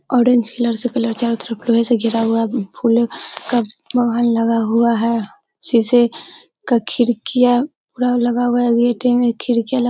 orange colour से colour चारो तरफ लोहे से घिरा हुआ फूलों का बागान लगा हुआ है| शीशे का खिड़कियाँ पूरा लगा हुआ है| में खिड़कियाँ --